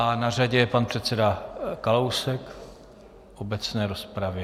A na řadě je pan předseda Kalousek v obecné rozpravě.